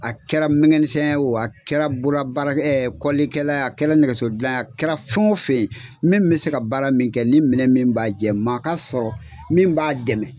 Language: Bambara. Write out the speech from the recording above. A kɛra mɛnkɛnisɛn ye o , a kɛra bololabaara ɛ kɔlilikɛla a kɛra nɛgɛsodilan ye, a kɛra fɛn o fɛn ye , min bɛ se ka baara min kɛ ni minɛ min b'a jɛ , maa ka sɔrɔ min b'a dɛmɛ.